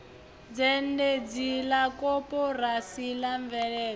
zhendedzi la koporasi la mveledzo